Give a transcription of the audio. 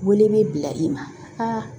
Wele bɛ bila i ma